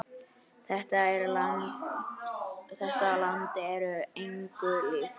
Þetta land er engu líkt.